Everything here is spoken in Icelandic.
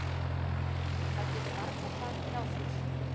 Það getur varla farið hjá því.